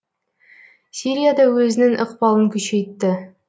сирия да өзінің ықпалын күшейтті